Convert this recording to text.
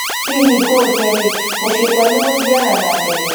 hihi ngũũrie rĩ, mũciĩ kwanyu mũthiaga na ndege?